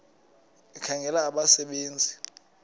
ekhangela abasebe nzi